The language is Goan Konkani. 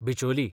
बिचोली